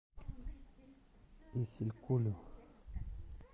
исилькулю